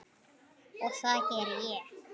Og það geri ég.